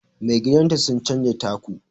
magidanta sun canja taku